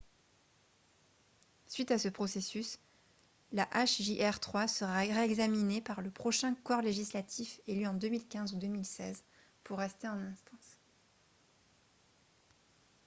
suite à ce processus la hjr-3 sera réexaminée par le prochain corps législatif élu en 2015 ou 2016 pour rester en instance